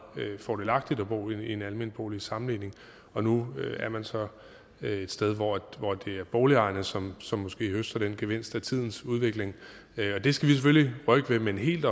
fordelagtigt at bo i en almen bolig i sammenligning og nu er man så et sted hvor det er boligejerne som som måske høster den gevinst af tidens udvikling og det skal vi selvfølgelig rykke ved men helt